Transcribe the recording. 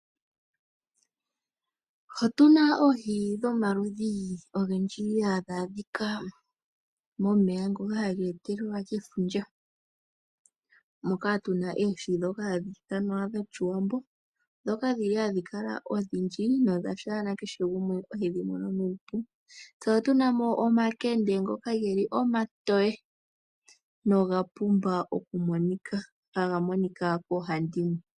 Otuna oohi dhomaludhi ogendji hadhaadhika momeya ngoka hageetelelwa kefundja. Moka tuna eeshi dhoka hadhi ithwana dhoshiwambo. Dhoka dhili hadhikala odhindji, nodhasha nakeshe gumwe ohedhimono nuupu. Se otunamo omakende ngoka hagakala omatowe, nogapumba okumonika nohagamonika koohandimwe.